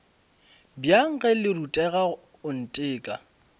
bjang ge le rutega oanteka